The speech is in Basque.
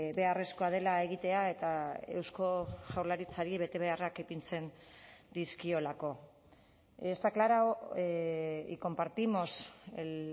beharrezkoa dela egitea eta eusko jaurlaritzari betebeharrak ipintzen dizkiolako está aclarado y compartimos el